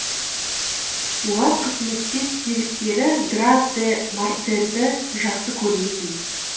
олар қызметтес серіктері граф де морсерді жақсы көрмейтін